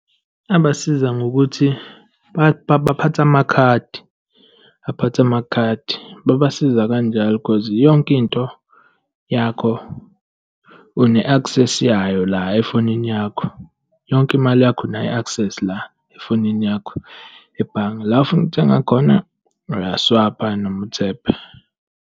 Abasiza ngokuthi baphathe amakhadi, baphathe amakhadi, babasiza kanjalo, cause yonke into yakho une-access yayo la efonini yakho, yonke imali yakho unayo i-access la efonini yakho ebhange. La ofuna ukuthenga khona, uya-swayipha noma uthebhe.